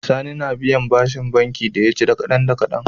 Sani na biyan banki bashin da yaci da kadan da kadan